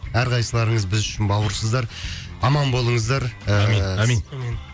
әр қайсыларыңыз біз үшін бауырсыздар аман болыңыздар ыыы әмин әмин